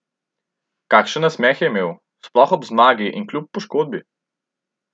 Kakšen nasmeh je imel, sploh ob zmagi in kljub poškodbi!